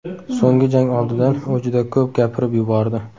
So‘nggi jang oldidan u juda ko‘p gapirib yubordi.